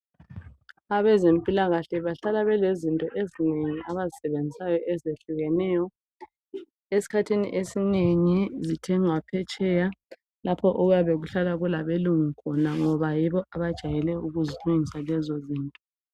Abezempilakahle bahlala belezinto ezinengi abazisebenzisayo ezehlukeneyo esikhathini esinengi njengaphetsheya lapho okuyabe kuhlala kulabelungu khona ngoba yibo abajayele ukuzilungisa lezo zinto.